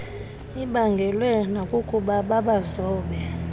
ibaangelwe nakukuba babazobe